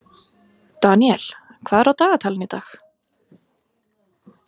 Daniel, hvað er á dagatalinu í dag?